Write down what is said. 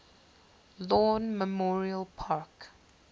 lawn memorial park